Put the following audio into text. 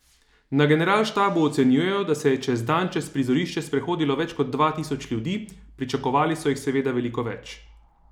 Na generalštabu ocenjujejo, da se je čez dan čez prizorišče sprehodilo več kot dva tisoč ljudi, pričakovali so jih seveda veliko več.